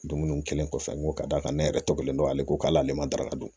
Dumuniw kɛlen kɔfɛ n ko ka d'a kan ne yɛrɛ tɔ kɛlen don ale ko k'ale ma daraka dun